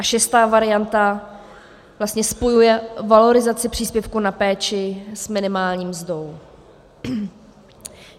A šestá varianta vlastně spojuje valorizaci příspěvku na péči s minimální mzdou.